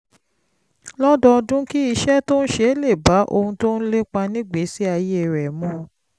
lọ́dọọdún kí iṣẹ́ tó ń ṣe lè bá ohun tó ń lépa nígbèésí ayé rẹ̀ mu